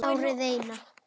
Árið Eina.